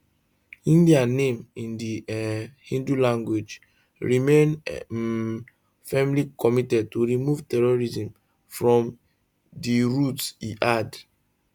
[india name in di um hindi language] remain um firmly committed to remove terrorism from id roots e add